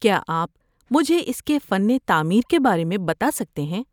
کیا آپ مجھے اس کے فن تعمیر کے بارے میں بتا سکتے ہیں؟